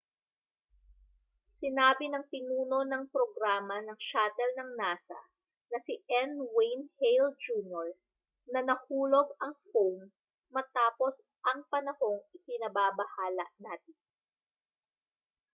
sinabi ng pinuno ng programa ng shuttle ng nasa na si n wayne hale jr na nahulog ang foam matapos ang panahong ikinababahala natin